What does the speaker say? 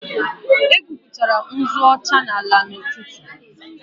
Egwupụtara m nzu ọcha n'ala n'ụtụtụ